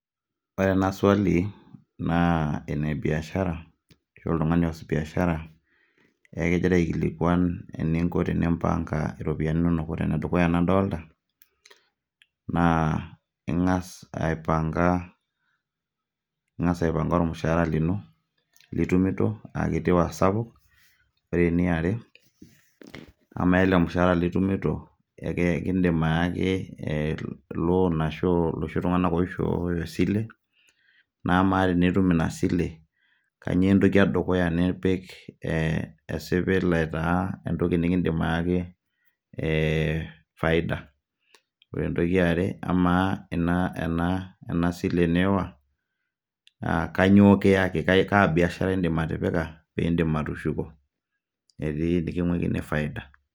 Ore ena swali ,naa enebiashara, ashu oltung'ani oas biashara, egira aikilikwan eninko tenimpanga iropiyiani nonok. Ore enedukuya nadolta, naa ing'as aipanka ing'as aipanka ormushaara lino, litumito akiti oasapuk. Ore eniare, kamaa ele mushaara litumito, ekiidim ayaki loan ashu loshi tung'anak oishooyo esile, na amaa tenitum inasile, kanyioo entoki edukuya nipik e esipil aitaa entoki nikiidim ayaki e faida. Ore entoki eare, amaa ena sile niiwa, ah kanyioo kiaki, kaa biashara idim atipika pidim atushuko, etii niking'uikini faida.